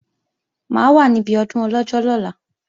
Mà á wà níbi ọdún Ọlọ́jọ́ lọ́la